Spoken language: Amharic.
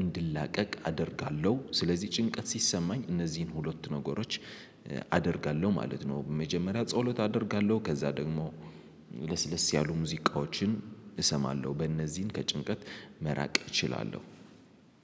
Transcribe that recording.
እንድላቀቅ አደርጋለሁ ስለዚህ ጭንቀት ሲሰማኝ እነዚህን ሁለት ነገሮች አደርጋለሁ ማለት ነው። መጀመሪያ ጸሎት አደርጋለሁ ከዛ ደግሞ ለስለስ ያሉ ሙዚቃዎችን እሰማለሁ። በእነዚህን ከጭንቀት መራቅ እችላለሁ።